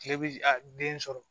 Kile bɛ a den sɔrɔ